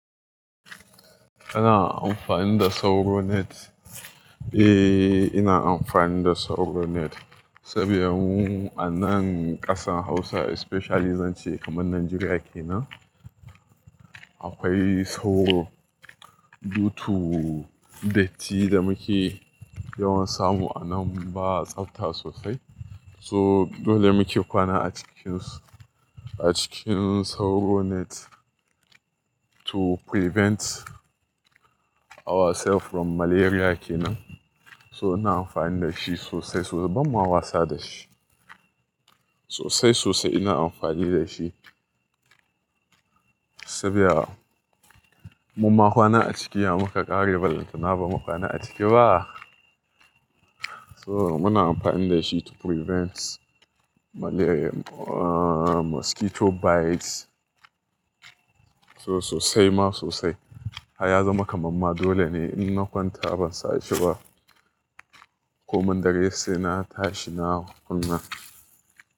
Kana amfani da sauro net? Eh, ina amfani da sauro net saboda a nan ƙasar Hausa especially zance kamar Najeriya ke nan, akwai sauro. To datti da muke yawan samu a nan ba tsabta sosai. So dole muke kwana a cikin, a cikin sauro net to prevent ourself from malaria ke nan. So ina amfani da shi sosai sosai. Bamma wasa da shi. Sosai sosai ina amfani da shi saboda mun ma kwana a ciki muka ƙare balanta na ba mu kwana a ciki ba. So muna amfani da shi to prevent malaria, ah mosquito bites. So sosai ma sosai. Haya zama kamamma dole ne in na kwanta ban sa shi ba. Ko mun daren sai na tashi na kunna.